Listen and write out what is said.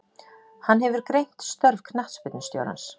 Hann hefur greint störf knattspyrnustjórans.